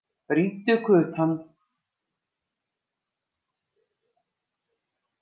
Brýndu kutann.